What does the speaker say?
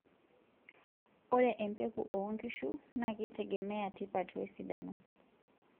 Ore empeku oonkishu naakeitegemea tipat wesidano.